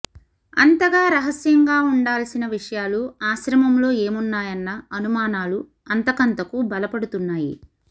అంతగా రహస్యంగా ఉంటాల్సిన విషయాలు ఆశ్రమంలో ఏమున్నాయన్న అనుమానాలు అంతకంతకూ బలపడుతున్నాయి